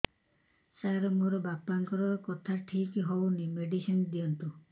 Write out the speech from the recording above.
ସାର ମୋର ବାପାଙ୍କର କଥା ଠିକ ହଉନି ମେଡିସିନ ଦିଅନ୍ତୁ